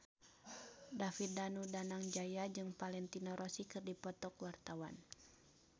David Danu Danangjaya jeung Valentino Rossi keur dipoto ku wartawan